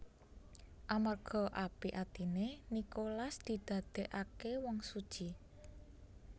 Amarga apik atiné Nikolas didadèkaké wong suci